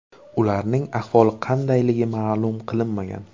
Ularning ahvoli qandayligi ma’lum qilinmagan.